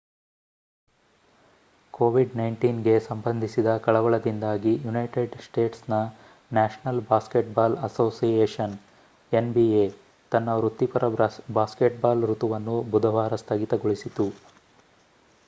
covid-19 ಗೆ ಸಂಬಂಧಿಸಿದ ಕಳವಳದಿಂದಾಗಿ ಯುನೈಟೆಡ್ ಸ್ಟೇಟ್ಸ್ನ ನ್ಯಾಷನಲ್ ಬಾಸ್ಕೆಟ್‌ಬಾಲ್ ಅಸೋಸಿಯೇಷನ್ nba ತನ್ನ ವೃತ್ತಿಪರ ಬ್ಯಾಸ್ಕೆಟ್‌ಬಾಲ್ ಋತುವನ್ನು ಬುಧವಾರ ಸ್ಥಗಿತಗೊಳಿಸಿತು